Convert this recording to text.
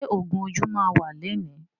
Ṣé ògún ojú máa wà lẹni?